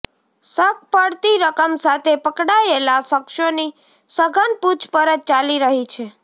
શક પડતી રકમ સાથે પકડાયેલા શખ્સોની સઘન પૂછપરછ ચાલી રહી છે